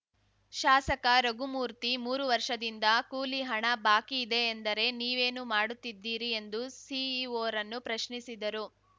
ಶಾಸಕ ರಘುಮೂರ್ತಿ ಮೂರು ವರ್ಷದಿಂದ ಕೂಲಿ ಹಣ ಬಾಕಿ ಇದೆ ಎಂದರೆ ನೀವೇನು ಮಾಡುತ್ತಿದ್ದಿರಿ ಎಂದು ಸಿಇಒರನ್ನು ಪ್ರಶ್ನಿಸಿದರು